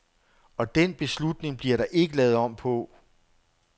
Og den beslutning bliver der ikke lavet om på.